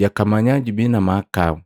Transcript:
jakamanya jubii na mahakau.”